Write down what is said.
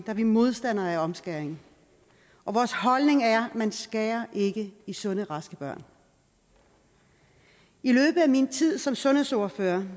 er vi modstandere af omskæring vores holdning er at man ikke skærer i sunde og raske børn i løbet af min tid som sundhedsordfører